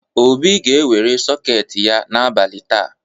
Obi ga-ewere sọketị ya n’abalị taa.